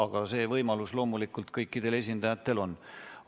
Aga see võimalus loomulikult kõikidel esindajatel on.